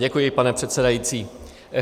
Děkuji, pane předsedající.